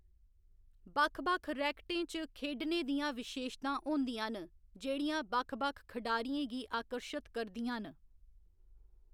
बक्ख बक्ख रैकेटें च खेढने दियां विशेशतां होंदियां न जेह्‌‌ड़ियां बक्ख बक्ख खढारियें गी आकर्शत करदियां न।